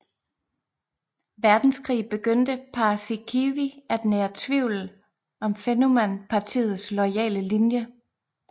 Verdenskrig begyndte Paasikivi at nære tvivl om Fennoman Partiets loyale linje